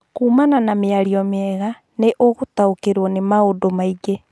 Kuumana na mĩario mĩega, nĩ ũgũtaũkĩrũo nĩ maũndũ maingĩ